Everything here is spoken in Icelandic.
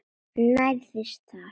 Nærðist þar.